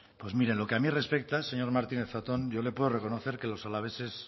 pues mire en lo que a mí respecta señor martínez zatón yo le puedo reconocer que los alaveses